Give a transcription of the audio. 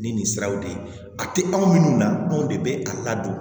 Ni nin siraw de ye a tɛ anw minnu na anw de bɛ a ladon